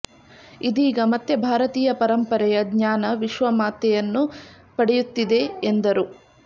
ಇದೀಗ ಮತ್ತೆ ಭಾರತೀಯ ಪರಂಪರೆಯ ಜ್ಞಾನ ವಿಶ್ವ ಮಾ್ಯತೆಯನ್ನು ಪಡೆಯುತ್ತಿದೆ ಎಂದರು